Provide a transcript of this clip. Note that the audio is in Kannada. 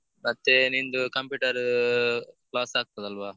ಮತ್ತೇ ನಿಂದು computer class ಆಗ್ತದಲ್ವಾ?